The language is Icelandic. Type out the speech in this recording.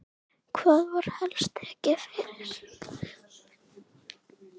Hvað var helst tekið fyrir?